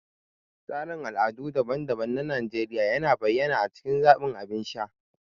Tasirin al'adu daban-daban na Najeriya yana bayyana a cikin zaɓin abin sha.